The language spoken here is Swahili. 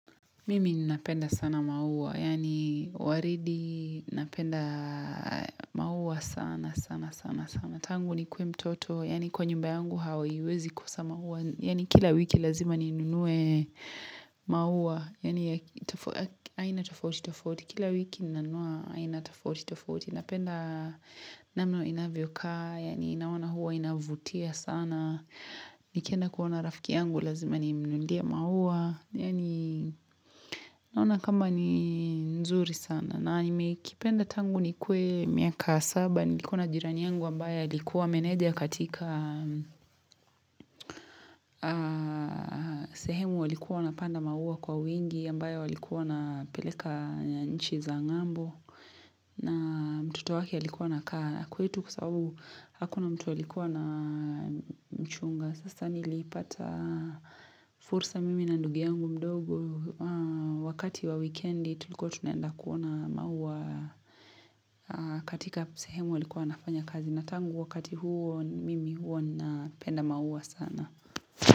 Mimi napenda sana maua, yaani waridi napenda maua sana, sana, sana, sana. Tangu nikue mtoto, yaani kwa nyumba yangu haiwezi kusa maua, yaani kila wiki lazima ninunue maua, yaani aina tofauti tofauti, kila wiki nanunua aina tofauti tofauti. Napenda namna inavyo kaa, yaani naona huwa inavutia sana, nikienda kuona rafiki yangu lazima nimnunulie maua, yaani naona kama ni nzuri sana. Na nimekipenda tangu nikue miaka saba, nilikuwa na jirani yangu ambaye alikuwa meneja katika sehemu walikuwa napanda maua kwa wingi, ambayo walikuwa na wapeleka nchi za ngambo, na mtoto wake alikuwa kaa kwetu kwa sababu hakuna mtu alikuwa anamchunga Sasa nilipata fursa mimi na ndugu yangu mdogo Wakati wa wikendi tulikue tunaenda kuona maua katika sehemu alikuwa anafanya kazi na tangu wakati huo mimi huwa ninapenda maua sana.